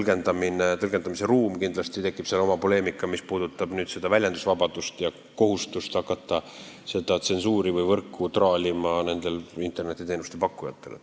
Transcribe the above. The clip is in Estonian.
Aga kindlasti on seal tõlgendamise ruumi ja tekib poleemika, mis puudutab väljendusvabadust ja kohustust internetiteenuste pakkujatele hakata seda tsensuuri tegema või võrku traalima.